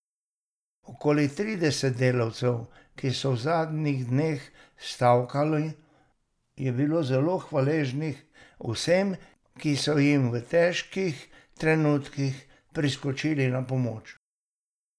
Okoli trideset delavcev, ki so v zadnjih dneh stavkali, je bilo zelo hvaležnih vsem, ki so jim v težkih trenutkih priskočili na pomoč.